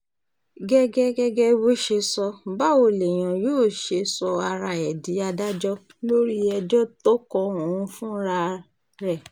gẹ́gẹ́ gẹ́gẹ́ bó ṣe sọ báwo lèèyàn yóò ṣe sọ ara ẹ̀ di adájọ́ lórí ẹjọ́ tó kan òun fúnra rẹ̀